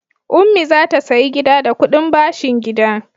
Ummi za ta sayi gida da kuɗin bashin gida.